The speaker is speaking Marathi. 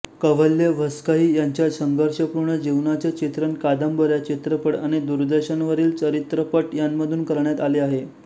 कव्हल्येव्हस्कइ यांच्या संघर्षपूर्ण जीवनाचे चित्रण कादंबऱ्या चित्रपट आणि दूरदर्शनवरील चरित्रपट यांमधून करण्यात आले आहे